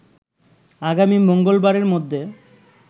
আগামী মঙ্গলবারের মধ্যে